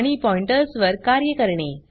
आणि पॉइंटर्स वर कार्ये करणे